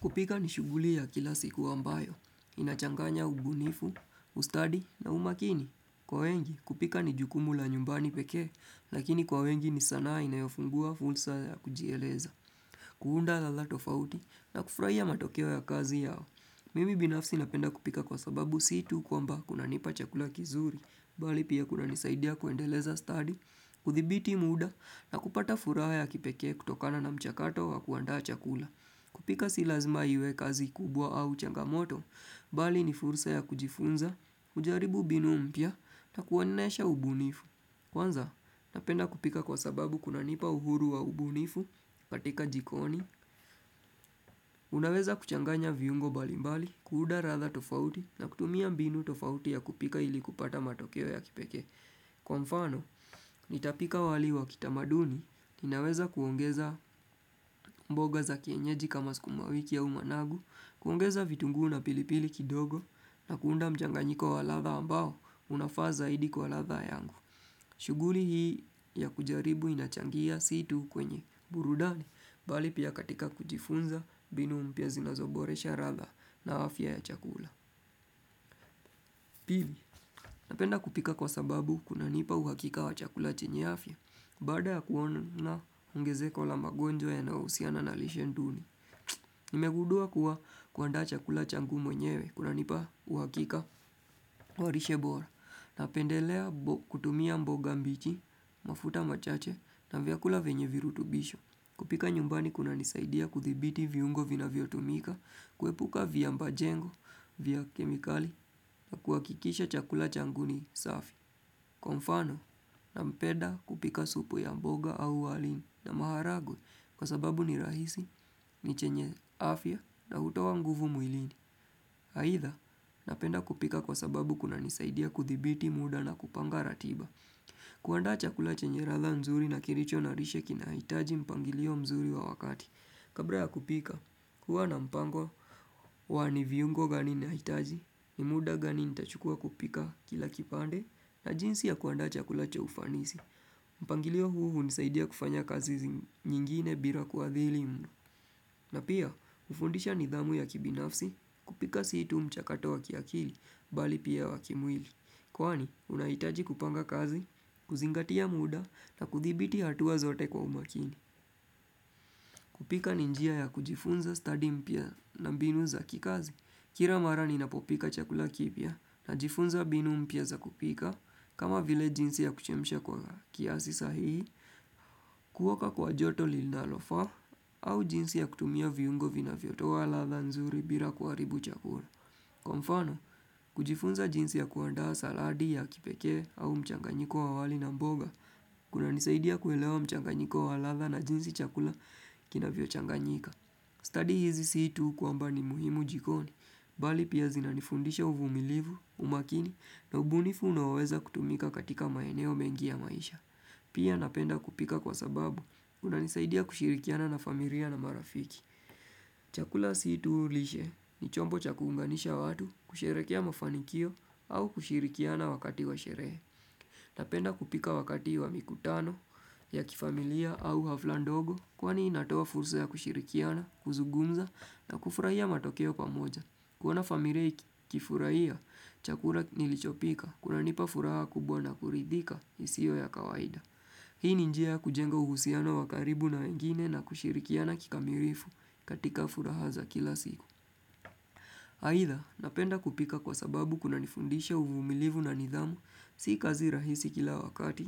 Kupika ni shughuli ya kila siku ambayo, inachanganya ubunifu, ustadi na umakini. Kwa wengi, kupika ni jukumu la nyumbani pekee, lakini kwa wengi ni sanaa inayofungua fulsa ya kujieleza. Kuunda la la tofauti, na kufraia matokeo ya kazi yao. Mimi binafsi napenda kupika kwa sababu sii tu kwamba kunanipa chakula kizuri, bali pia kunanisaidia kuendeleza study, kuthibiti muda na kupata furaha ya kipeke kutokana na mchakato wa kuandaa chakula. Kupika si lazima iwe kazi kubwa au changamoto, bali ni fursa ya kujifunza, ujaribu binu mpya, na kuonesha ubunifu. Kwanza, napenda kupika kwa sababu kunanipa uhuru wa ubunifu, katika jikoni unaweza kuchanganya viungo bali mbali, kuunda ratha tofauti, na kutumia mbinu tofauti ya kupika ili kupata matokeo ya kipeke. Kwa mfano, nitapika wali wa kitamaduni, ninaweza kuongeza mboga za kienyeji kama skumawiki au managu, kuongeza vitunguu na pilipili kidogo, na kuunda mjanganyiko wa ladha ambao, unafaa zaidi kuwa ladha yangu. Shughuli hii ya kujaribu inachangia sii tu kwenye burudani, bali pia katika kujifunza, binu mpya zinazoboresha ratha na afya ya chakula. Pili, napenda kupika kwa sababu kunanipa uhakika wa chakula chenye afya, baada ya kuona na ongezeko la magonjwa yanayousiana na lishe nduni. Nimegudua kuwa, kuandaa chakula changu mwenyewe, kunanipa uhakika wa rishe bora. Napendelea bo kutumia mboga mbichi, mafuta machache, na vyakula venye virutubisho. Kupika nyumbani kunanisaidia kudhibiti viungo vinavyotumika, kuepuka vyamba jengo, vya kemikali, na kuhakikisha chakula changu ni safi. Kwa mfano, nampeda kupika supu ya mboga au wali na maharagwe, kwa sababu ni rahisi, ni chenye afya, na hutowa nguvu mwilini. Haidha, napenda kupika kwa sababu kunanisaidia kudhibiti muda na kupanga ratiba. Kuandaa chakula chenye radha nzuri na kiricho na rishe kinahitaji mpangilio mzuri wa wakati. Kabra ya kupika, kuwa na mpango wa ni viungo va ninahitaji, ni muda gani nitachukua kupika kila kipande, na jinsi ya kuandaa chakula cha ufanisi. Mpangilio huu hunisaidia kufanya kazi zing nyingine bira kuadhili m na pia, hufundisha nidhamu ya kibinafsi, kupika sii tu mchakato wa kiakili, bali pia wa kimwili. Kwani, unahitaji kupanga kazi, kuzingatia muda, na kuthibiti hatua zote kwa umakini. Kupika ni njia ya kujifunza study mpya na mbinu za kikazi. Kira mara ninapopika chakula kipia, najifunza binu mpya za kupika. Kama vile jinsi ya kuchemsha kwa kiasi sahihi, kuoka kwa joto lilnalofaa, au jinsi ya kutumia viungo vinavyotoa ladha nzuri bila kuaribu chakula. Kwa mfano, kujifunza jinsi ya kuandaa saladi ya kipekee au mchanganyiko wa wali na mboga, kunanisaidia kuelewa mchanganyiko wa ladha na jinsi chakula kinavyochanganyika. Kadi hizi sin tu kwamba ni muhimu jikoni, bali pia zinanifundisha uvumilivu, umakini na ubunifu unaoweza kutumika katika maeneo mengi ya maisha. Pia napenda kupika kwa sababu, kunanisaidia kushirikiana na familia na marafiki. Chakula sii tu lishe, ni chombo cha kuunganisha watu, kusherekea mafanikio, au kushirikiana wakati wa sherehe. Napenda kupika wakati wa mikutano, ya kifamilia au hafla ndogo, kwani inatoa fursa ya kushirikiana, kuzugumza na kufurahia matokeo pamoja. Kuona famiria iki kifurahia, chakula nilichopika, kunanipafuraha kubwa na kuridhika, isio ya kawaida. Hii ni njia ya kujenga uhusiano wa karibu na wengine na kushirikiana kikamirifu, katika furaha za kila siku. Aidha, napenda kupika kwa sababu kunanifundisha uvumilivu na nidhamu, si kazi rahisi kila wakati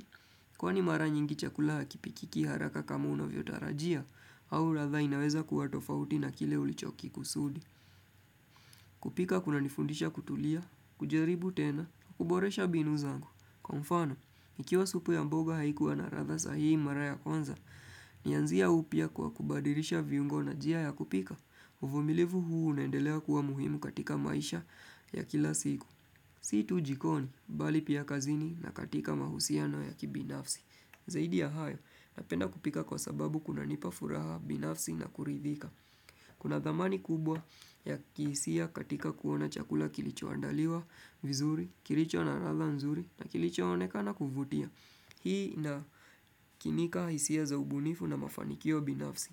Kwani mara nyingi chakula hakipikiki haraka kama unavyotarajia, au ratha inaweza kuwa tofauti na kile ulichokikikusudi. Kupika kunanifundisha kutulia, kujaribu tena, kuboresha binu zangu. Kwa mfano, ikiwa supu ya mboga haikuwa na ratha sahihi mara ya kwanza, nianzia upya kwa kubadirisha viungo na jia ya kupika. Uvumilivu huu unaendelea kuwa muhimu katika maisha, ya kila siku. Si tu jikoni, bali pia kazini na katika mahusiano ya kibinafsi. Zaidi ya hayo, napenda kupika kwa sababu kunanipa furaha binafsi na kuridhika. Kuna dhamani kubwa ya kihisia katika kuona chakula kilichoandaliwa, vizuri, kiricho na radha nzuri, na kilichooneka kuvutia. Hii na kinika hisia za ubunifu na mafanikio binafsi.